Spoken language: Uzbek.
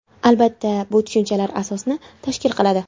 Albatta, bu tushunchlar asosni tashkil qiladi.